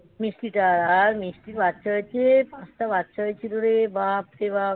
মিষ্টিটা. আর মিষ্টি বাচ্চা হয়েছে. পাঁচটা বাচ্চা হয়েছিল রে. বাপরে বাপ.